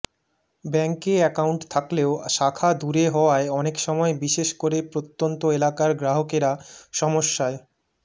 ব্যাঙ্কে অ্যাকাউন্ট থাকলেও শাখা দূরে হওয়ায় অনেক সময় বিশেষ করে প্রত্যন্ত এলাকার গ্রাহকেরা সমস্যায়